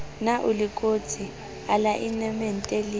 na o lekotse alaenemente le